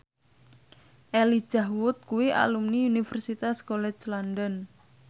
Elijah Wood kuwi alumni Universitas College London